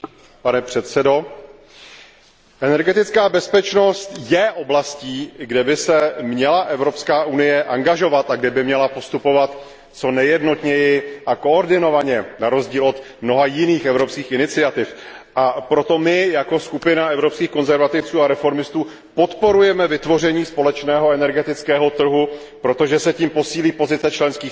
Energetická bezpečnost je oblastí, kde by se měla Evropská unie angažovat a kde by měla postupovat co nejjednotněji a koordinovaně, na rozdíl od mnoha jiných evropských iniciativ, a proto my, jako skupina Evropských konzervativců a reformistů podporujeme vytvoření společného energetického trhu, protože se tím posílí pozice členských států oproti hlavním dodavatelům